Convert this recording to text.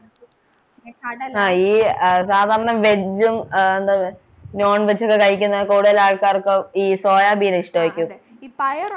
ആഹ് ഈ സാധാരണ veg ഉം ആഹ് എന്തന്ന് non veg ഒക്കെ കഴിക്കുന്ന കൂടുതലാൾക്കാർക്ക് ഈ സോയാബീൻ ഇഷ്ടായിരിക്കും